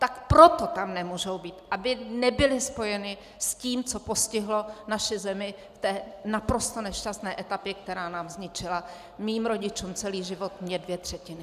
Tak proto tam nemůžou být, aby nebyli spojeni s tím, co postihlo naši zemi v té naprosto nešťastné etapě, která nám zničila - mým rodičům celý život, mně dvě třetiny.